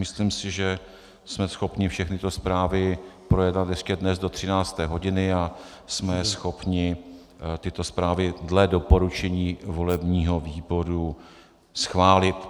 Myslím si, že jsme schopni všechny tyto zprávy projednat ještě dnes do 13. hodiny a jsme schopni tyto zprávy dle doporučení volebního výboru schválit.